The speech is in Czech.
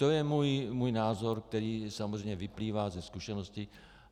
To je můj názor, který samozřejmě vyplývá ze zkušeností.